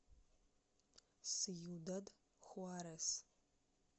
сьюдад хуарес